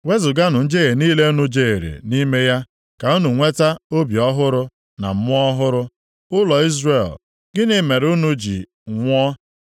Wezuganụ njehie niile unu jehiere nʼime ya, ka unu nweta obi ọhụrụ na mmụọ ọhụrụ. Ụlọ Izrel, gịnị mere unu ga-eji nwụọ?